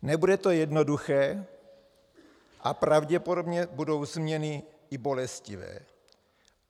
Nebude to jednoduché a pravděpodobně budou změny i bolestivé.